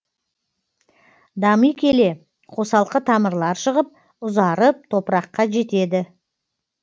дами келе қосалқы тамырлар шығып ұзарып топыраққа жетеді